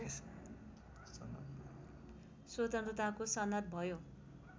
स्वतन्त्रताको सनद भयो